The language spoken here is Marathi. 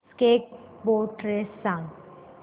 स्नेक बोट रेस सांग